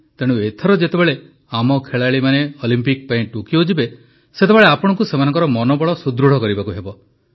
ତେଣୁ ଏଥର ଯେତେବେଳେ ଆମ ଖେଳାଳିମାନେ ଅଲିମ୍ପିକ ପାଇଁ ଟୋକିଓ ଯିବେ ସେତେବେଳେ ଆପଣଙ୍କୁ ସେମାନଙ୍କ ମନୋବଳ ସୁଦୃଢ଼ କରିବାକୁ ହେବ